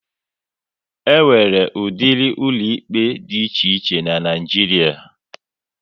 E nwere udiri ụlọ ikpe dị iche iche n'Naijiria